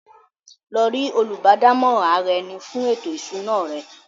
Lọ rí “ Olùbádámọ̀ràn ara-ẹni fún ètò ìṣúná” rẹ!